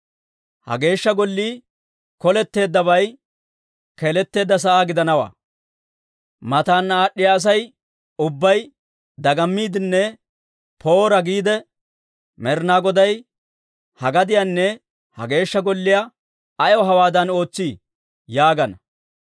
Ha Geeshsha Gollii Koletteeddabay keeleteedda sa'aa gidanawaa; mataana aad'd'iyaa Asay ubbay dagammiiddinne ‹Poora!› giidde, ‹Med'inaa Goday ha gadiyanne ha Geeshsha Golliyaa ayaw hawaadan ootseedee?› yaagana.